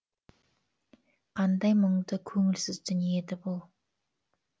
қандай мұңды көңілсіз дүние еді бұл